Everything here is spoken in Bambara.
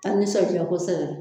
A nisɔn ja kosɛbɛ